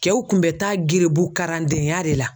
Kɛw kun bɛ taa gerebu karandenya de la.